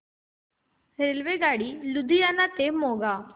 रेल्वेगाडी लुधियाना ते मोगा